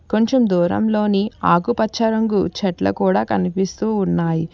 కొంచెం దూరంలోని ఆకుపచ్చ రంగు చెట్లు కూడా కనిపిస్తూ ఉన్నాయి.